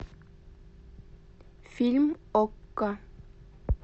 фильм окко